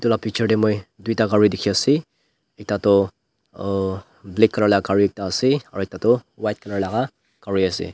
edu la picture tae moi tuita gari dikhiase ekta toh black colour laka gari ekta ase aro ekta toh white colour laka gari ase.